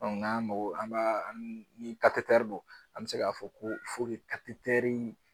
Dɔnku nga magɔ an b'a an bi katetɛri don an be se k'a fɔ ko fo ke i katetɛri